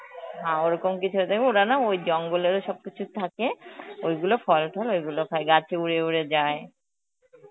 হা ওরকম কিছু হবে, দেখবে ওরা না ওই জঙ্গলেরও সবকিছু থাকে ওইগুলো ফল টল ওইগুলো খায়, গাছে উড়ে উড়ে যায়.